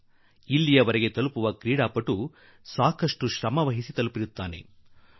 ಕ್ರೀಡಾಪಟು ಈ ಮಟ್ಟಕ್ಕೆ ತಲುಪುವುದು ಎಂದಾದರೆ ಅದು ಬಹಳ ಕಠಿಣ ಪರಿಶ್ರಮದ ನಂತರವೇ ಸಾಧ್ಯ